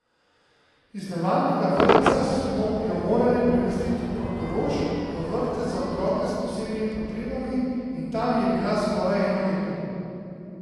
Iz navadnega vrtca smo jo morali premestiti v Portorož, v vrtec za otroke s posebnimi potrebami, in tam je bila skoraj eno leto.